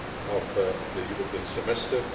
of the European Semester.